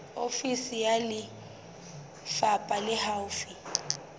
ofisi ya lefapha le haufi